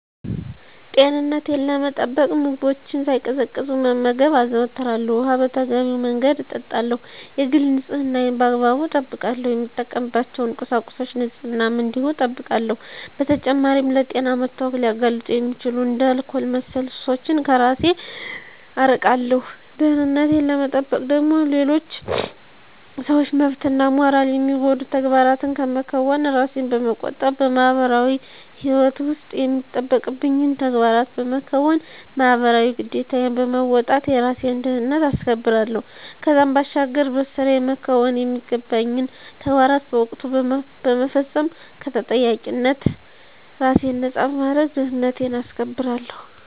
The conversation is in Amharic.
ጤንነቴን ለመጠበቅ ምግቦችን ሳይቀዘቅዙ መመገብ አዘወትራለሁ፣ ውኃ በተገቢው መንገድ እጠጣለሁ፣ የግል ንፅህናዬን በአግባቡ እጠብቃለሁ፣ የምጠቀምባቸውን ቁሳቁሶች ንፅህናም እንዲሁ እጠብቃለሁ። በተጨማሪም ለጤና መታወክ ሊያጋልጡ የሚችሉ እንደ አልኮል መሠል ሱሶችን ከራሴን አርቃለሁ። ደህንነቴን ለመጠበቅ ደግሞ የሌሎችን ሰዎች መብትና ሞራል የሚጎዱ ተግባራትን ከመከወን ራሴን በመቆጠብ በማህበራዊ ህይወት ውስጥ የሚጠበቅብኝን ተግባራት በመከወን ማህበራዊ ግዴታዬን በመወጣት የራሴን ደህንነት አስከብራለሁ። ከዛም ባሻገር በስራየ መከወን የሚገባኝን ተግባራት በወቅቱ በመፈፀም ከተጠያቂነት ራሴን ነፃ በማድረግ ደህንነቴን አስከብራለሁ።